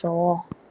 tuu.